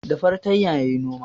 Da fartanya yayi noma